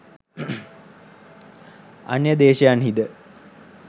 අන්‍ය දේශයන්හිද